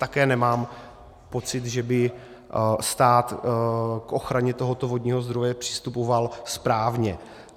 Také nemám pocit, že by stát k ochraně tohoto vodního zdroje přistupoval správně.